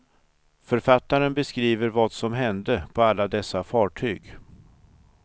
Författaren beskriver vad som hände alla dessa fartyg.